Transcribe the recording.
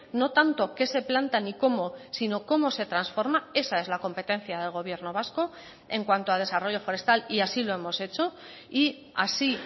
no tanto que se plantan y cómo sino cómo se transforma esa es la competencia del gobierno vasco en cuanto a desarrollo forestal y así lo hemos hecho y así